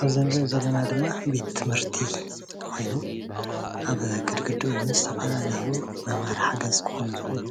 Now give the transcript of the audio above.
ኣብዚ እንሪኦ ዘለና ድማ ቤቴ ትምህርቲ ኾይኑ ኣብ ግድግድኡ እውን ዝተፈላለዩ መምሀሪ ሓገዝ ኽኾኑ ዝኽእሉ